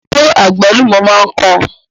Ṣé àgbálùmọ̀ máa ń kan?